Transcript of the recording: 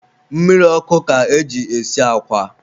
mmiri ọkụ ka e ji esi akwa.